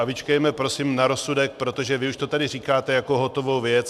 A vyčkejme prosím na rozsudek, protože vy už to tady říkáte jako hotovou věc.